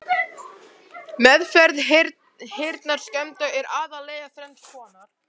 Meðferð heyrnarskemmda er aðallega þrenns konar